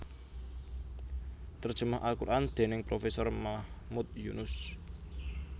Terjemah al Quran dening Profesor Mahmud Yunus